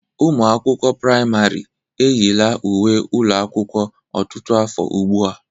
Ụmụ akwụkwọ pramarị eyila uwe ụlọ akwụkwọ ọtụtụ afọ ugbu a.